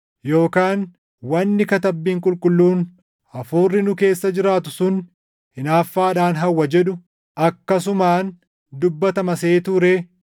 Yookaan wanni Katabbiin Qulqulluun, “Hafuurri nu keessa jiraatu sun hinaaffaadhaan hawwa” jedhu akkasumaan dubbatama seetuu ree?